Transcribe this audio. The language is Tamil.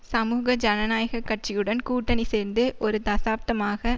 சமூக ஜனநாயக கட்சியுடன் கூட்டணி சேர்ந்து ஒரு தசாப்தமாக